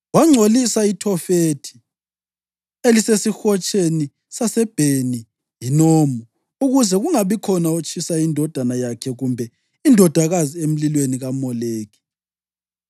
Wangcolisa iThofethi elisesihotsheni saseBheni-Hinomu ukuze kungabikhona otshisa indodana yakhe kumbe indodakazi emlilweni kaMoleki.